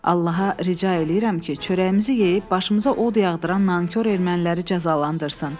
Allaha rica eləyirəm ki, çörəyimizi yeyib başımıza od yağdıran nankor erməniləri cəzalandırsın.